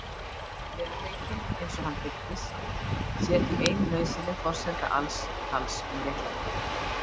Veruleikinn, eins og hann birtist, sé því ein nauðsynleg forsenda alls tals um réttlæti.